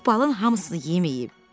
Puh balın hamısını yeməyib.